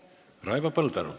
Raivo Põldaru.